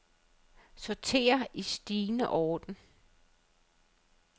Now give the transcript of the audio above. Sorter i stigende orden.